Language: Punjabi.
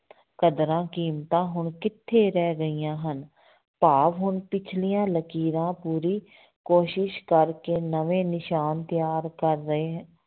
ਕਦਰਾਂ ਕੀਮਤਾਂ ਹੁਣ ਕਿੱਥੇ ਰਹਿ ਗਈਆਂ ਹਨ, ਭਾਵ ਹੁਣ ਪਿੱਛਲੀਆਂ ਲਕੀਰਾਂ ਪੂਰੀ ਕੋਸ਼ਿਸ਼ ਕਰਕੇ ਨਵੇਂ ਨਿਸ਼ਾਨ ਤਿਆਰ ਕਰ ਰਹੇ,